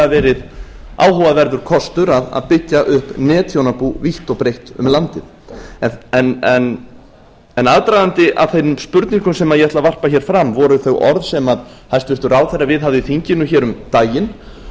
verið áhugaverður kostur að byggja upp netþjónabú vítt og breitt um landið aðdragandi að þeim spurningum sem ég ætla að varpa fram voru þau orð sem hæstvirtur ráðherra viðhafði í þinginu um daginn